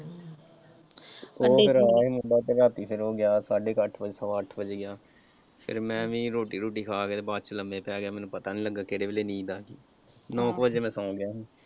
ਉਹ ਫਿਰ ਆਇਆ ਸੀ ਰਾਤੀ ਫਿਰ ਉਹ ਗਿਆ ਸਾਢੇ ਕ ਅੱਠ ਵਜੇ ਸਵਾ ਕ ਅੱਠ ਵਜੇ ਗਿਆ ਤੇ ਮੈਂ ਵੀ ਰੋਟੀ ਰੁਟੀ ਖਾ ਕੇ ਬਾਅਦ ਚ ਲੰਮੇ ਪੈ ਗਿਆ ਮੈਨੂੰ ਪਤਾ ਨਹੀਂ ਲੱਗਿਆ ਕਿਹੜੇ ਵੇਲੇ ਨੀਂਦ ਆ ਗਈ ਨੋਂ ਕ ਵਜੇ ਮੈਂ ਸੋਂ ਗਿਆ ਸੀ।